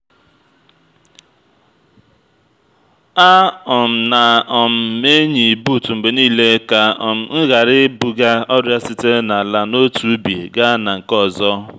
a um na um m-eyi buut mgbe niile ka um m ghara ibuga ọrịa sitere n’ala n’otu ubi gaa na nke ọzọ